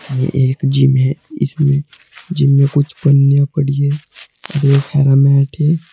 ये एक जिम है इसमें जिम में कुछ पन्नियां पड़ी हैं। है।